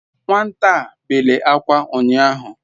Nwata a bele akwa unyahu